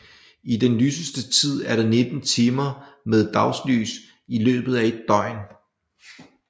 I den lyseste tid er der 19 timer med dagslys i løbet af et døgn